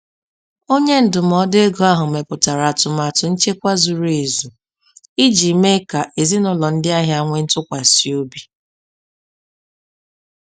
Onye ndụmọdụ ego ahụ mepụtara atụmatụ nchekwa zuru ezu iji mee ka ezinụlọ ndị ahịa nwee ntụkwasị obi.